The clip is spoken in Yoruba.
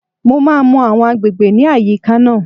Mo máa mọ àwọn agbègbè ní àyíká náà